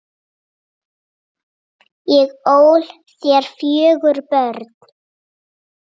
Ég ól þér fjögur börn.